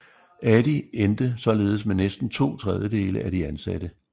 Adi endte således med næsten to tredjedele af de ansatte